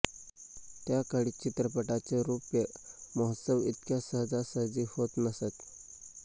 त्या काळी चित्रपटांचे रौप्य महोत्सव इतक्या सहजासहजी होत नसत